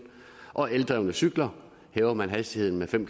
og for eldrevne cykler hæver man hastigheden med fem